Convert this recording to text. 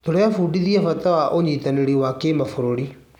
Tũrebundithia bata wa ũnyitanĩri wa kĩmabũrũri.